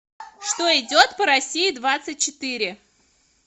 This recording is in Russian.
что идет по россии двадцать четыре